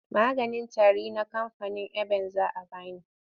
Maganin tari na kamfanin eban za a ba ni.